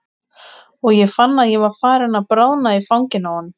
Og ég fann að ég var farin að bráðna í fanginu á honum.